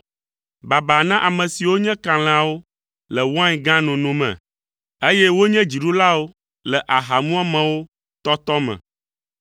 Baba na ame siwo nye kalẽawo le wain gã nono me, eye wonye dziɖulawo le ahamuamewo tɔtɔ me,